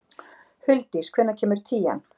Huldís, hvenær kemur tían?